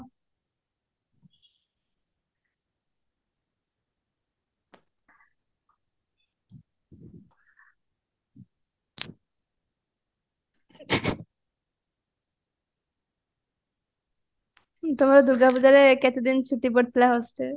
ତମର ଦୂର୍ଗା ପୂଜାରେ କେତେଦିନ ଛୁଟି ପଡିଥିଲା hostel